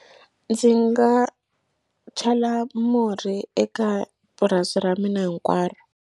Ndzi nga chela murhi eka purasi ra mina hinkwaro.